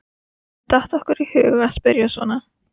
Hvernig datt okkur í hug að spyrja svona!